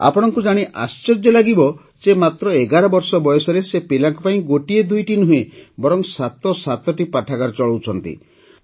ଆପଣଙ୍କୁ ଜାଣି ଆଶ୍ଚର୍ଯ୍ୟ ଲାଗିବ ଯେ ମାତ୍ର ୧୧ ବର୍ଷ ବୟସରେ ସେ ପିଲାଙ୍କ ପାଇଁ ଗୋଟିଏ ଦୁଇଟି ନୁହେଁ ବରଂ ସାତ ସାତଟି ପାଠାଗାର ଚଳାଉଛନ୍ତି